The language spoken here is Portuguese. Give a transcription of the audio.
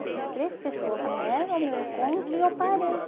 Essas três pessoas vieram ao meu encontro e eu parei.